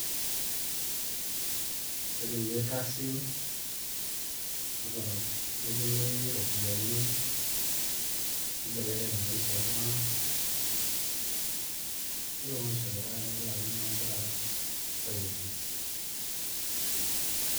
Etumi irkasin, netumi iropiyiani, nibelekeny maisha oltung'anak, nelo maisha dukuya nelakini na nkera mpisai e fees.